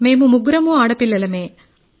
మేం ముగ్గురమూ ఆడపిల్లలమే